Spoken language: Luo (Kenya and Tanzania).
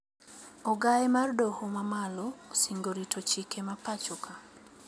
Ogae mar doho mamalo osingo rito chike mapachoka